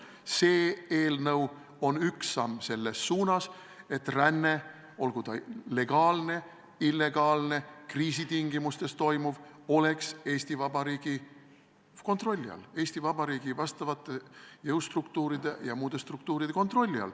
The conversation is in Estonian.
See eelnõu on üks samm selles suunas, et ränne, olgu ta legaalne, illegaalne, kriisitingimustes toimuv, oleks Eesti Vabariigi kontrolli all, Eesti Vabariigi jõustruktuuride ja muude struktuuride kontrolli all.